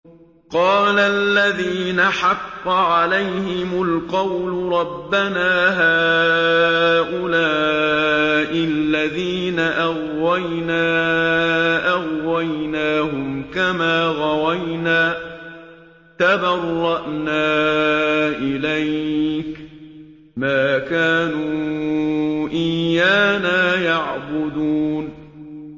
قَالَ الَّذِينَ حَقَّ عَلَيْهِمُ الْقَوْلُ رَبَّنَا هَٰؤُلَاءِ الَّذِينَ أَغْوَيْنَا أَغْوَيْنَاهُمْ كَمَا غَوَيْنَا ۖ تَبَرَّأْنَا إِلَيْكَ ۖ مَا كَانُوا إِيَّانَا يَعْبُدُونَ